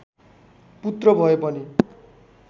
पुत्र भए पनि